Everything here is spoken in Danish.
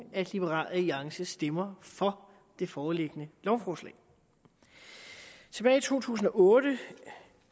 at liberal alliance stemmer for det foreliggende lovforslag tilbage i to tusind og otte